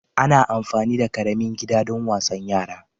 Ana amfani da ƙaramin gida don wasan yara